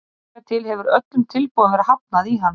Hingað til hefur öllum tilboðum verið hafnað í hann.